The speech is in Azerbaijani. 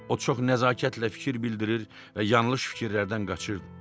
O çox nəzakətlə fikir bildirir və yanlış fikirlərdən qaçırdı.